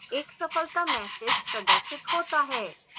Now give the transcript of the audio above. एक सफलता message प्रदर्शित होता है